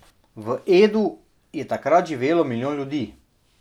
V Edu je takrat živelo milijon ljudi.